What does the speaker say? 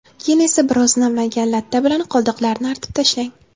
Keyin esa biroz namlangan latta bilan qoldiqlarini artib tashlang.